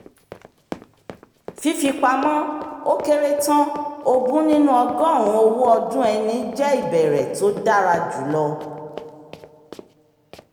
fífipamọ́ o kere tán ogún nínú ọgọ́rùn-ún owó ọdún ẹni jẹ́ ibẹ̀rẹ̀ tó dára jùlọ